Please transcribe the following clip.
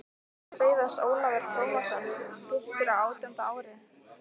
Þar beið hans Ólafur Tómasson, piltur á átjánda ári.